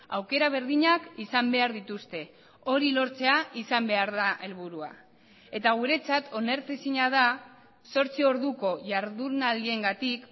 aukera berdinak izan behar dituzte hori lortzea izan behar da helburua eta guretzat onartezina da zortzi orduko jardunaldiengatik